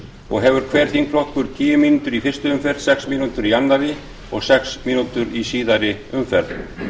og hefur hver þingflokkur tíu mínútur í fyrstu umferð sex mínútur í öðru og sex mínútur í síðari umferð